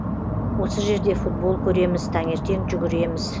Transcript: осы жерде футбол көреміз таңертең жүгіреміз